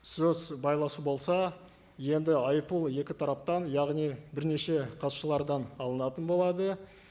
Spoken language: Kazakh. сөз байласу болса енді айыппұл екі тараптан яғни бірнеше қатысушылардан алынатын болады